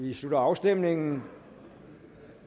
vi slutter afstemningen